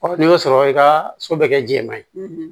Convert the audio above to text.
n'i y'o sɔrɔ i ka so bɛ kɛ jɛman ye